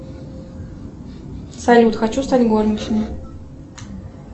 салют хочу стать горничной